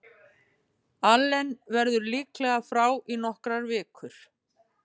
Allen verður líklega frá í nokkrar vikur.